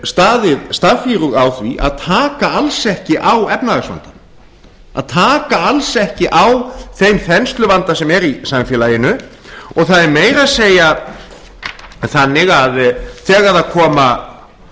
staðið staffírug á því að taka alls ekki á efnahagsvandanum að taka alls ekki á þeim þensluvanda sem er í samfélaginu það er meira að segja þannig að þegar